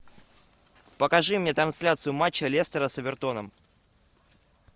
покажи мне трансляцию матча лестера с эвертоном